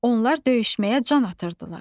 Onlar döyüşməyə can atırdılar.